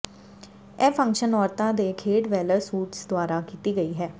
ਇਹ ਫੰਕਸ਼ਨ ਔਰਤਾਂ ਦੇ ਖੇਡ ਵੈਲਰ ਸੂਟਸ ਦੁਆਰਾ ਕੀਤੀ ਗਈ ਹੈ